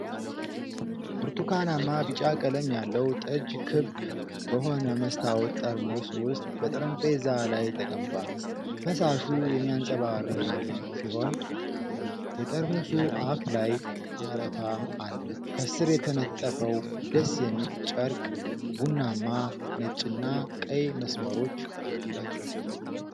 ብርቱካናማ ቢጫ ቀለም ያለው ጠጅ ክብ በሆነ መስታወት ጠርሙስ ውስጥ በጠረጴዛ ላይ ተቀምጧል። ፈሳሹ የሚያንጸባርቅ ሲሆን፣ የጠርሙሱ አፍ ላይ አረፋ አለ። ከስር የተነጠፈው ደስ የሚል ጨርቅ ቡናማ፣ ነጭና ቀይ መስመሮች አሉት።